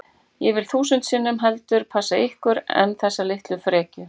Ég vil þúsund sinnum heldur passa ykkur en þessa litlu frekju